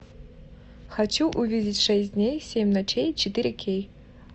хочу увидеть шесть дней семь ночей четыре кей